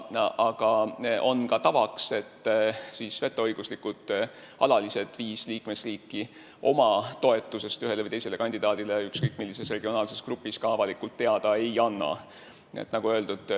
Aga on ka tavaks, et viis vetoõiguslikku alalist liikmesriiki oma toetusest ühele või teisele kandidaadile ükskõik millises regionaalses grupis avalikult teada ei anna.